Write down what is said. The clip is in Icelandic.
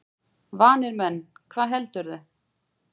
Vanir menn, hvað heldurðu!